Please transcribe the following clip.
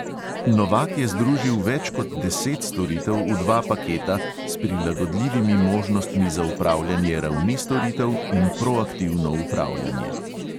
Novak je združil več kot deset storitev v dva paketa s prilagodljivimi možnostmi za upravljanje ravni storitev in proaktivno upravljanje.